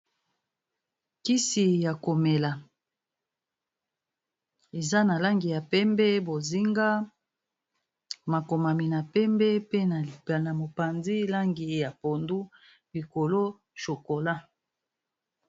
kisi ya komela eza na langi ya pembe, bozinga, makomami na pembe, pe na mopanzi langi ya pondu likolo chokola.